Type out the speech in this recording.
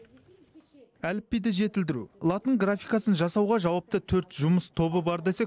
әліпбиді жетілдіру латын графикасын жасауға жауапты төрт жұмыс тобы бар десек